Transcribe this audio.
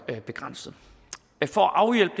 begrænset for at afhjælpe